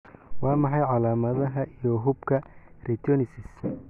Waa maxay calamadaha iyo calaamadaha xuubka retinoschisis?